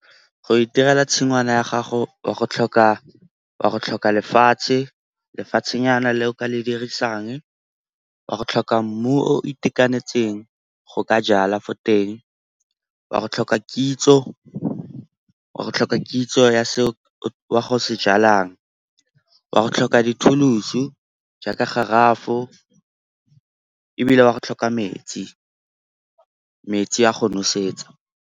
Go itirela tshingwana ya gago wa go tlhoka lefatshe, lefatshenyana le o ka le dirisang. Wa go tlhoka mmu o itekanetseng go ka jala fo teng, wa go tlhoka kitso ya seo wa go se jalang. Wa go tlhoka di-tools-u jaaka garafo ebile wa go tlhoka metsi, metsi a go nosetsa.